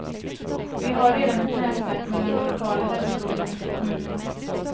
Vi har redan ett nätverk mellan de lokala hälsoråden ute i kommunerna.